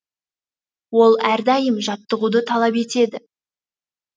ол әрдайым жаттығуды талап етеді